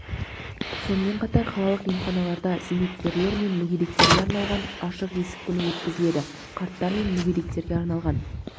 сонымен қатар қалалық емханаларда зейнеткерлер мен мүгедектерге арналған ашық есік күні өткізіледі қарттар мен мүгедектерге арналған